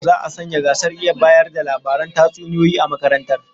Za'a sanya gasar iya bayar da labaran tatsuniyoyi a makarantar